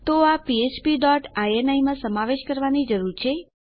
તો આ ફ્ફ્પ ડોટ ઇની માં સમાવેશ કરવાની જરૂર છે